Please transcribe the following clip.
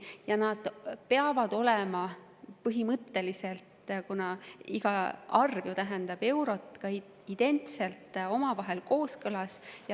Põhimõtteliselt peavad need olema – kuna iga arv tähendab eurot – omavahel identselt kooskõlas.